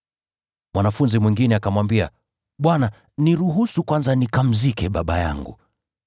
Mwanafunzi mwingine akamwambia, “Bwana, niruhusu kwanza nikamzike baba yangu.”